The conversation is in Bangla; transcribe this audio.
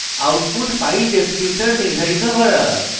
output file descriptor নির্ধারিত করা